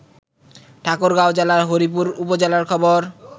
ঠাকুরগাঁও জেলার হরিপুর উপজেলার খবর